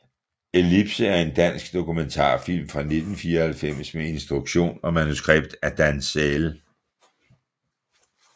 Ellipse er en dansk dokumentarfilm fra 1994 med instruktion og manuskript af Dan Säll